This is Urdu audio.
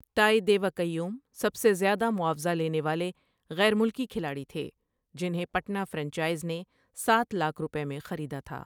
تائی دیوک ایوم سب سے زیادہ معاوضہ لینے والے غیر ملکی کھلاڑی تھے جنہیں پٹنہ فرنچائز نے ساتھ لاکھ روپے میں خریدا تھا۔